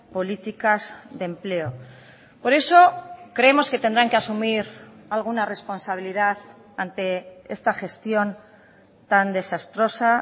políticas de empleo por eso creemos que tendrán que asumir alguna responsabilidad ante esta gestión tan desastrosa